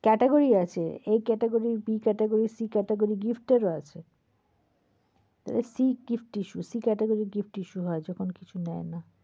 category আছে। A Caterogy, B Category, gift এর ও আছে। তো C gift issue, C category gift issue হয় যখন কিছু নেয় না।